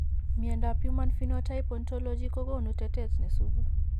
Miandab Human Phenotype Ontology kogonu tetet nesubu